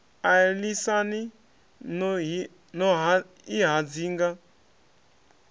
a lisani no i hadzinga